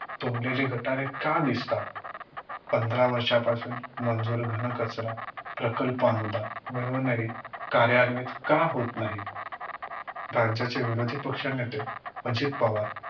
तुंबलेली गटारे का दिसतात? पंधरा वर्षांपासून मंजूर घन कचरा प्रकल्प अनुदान मिळूनही कार्यान्वित का होत नाही? राज्याचे विरोधी पक्ष नेते अजित पवार